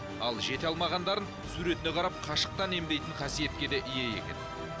ал жете алмағандарын суретіне қарап қашықтан емдейтін қасиетке де ие екен